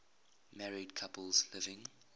married couples living